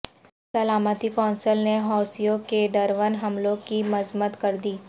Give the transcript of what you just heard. سلامتی کونسل نے حوثیوں کے ڈرون حملوں کی مذمت کردی